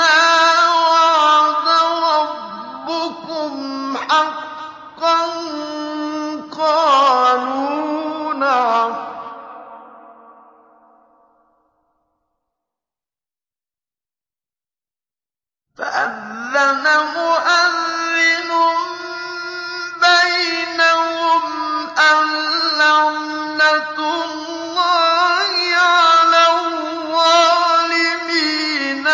مَّا وَعَدَ رَبُّكُمْ حَقًّا ۖ قَالُوا نَعَمْ ۚ فَأَذَّنَ مُؤَذِّنٌ بَيْنَهُمْ أَن لَّعْنَةُ اللَّهِ عَلَى الظَّالِمِينَ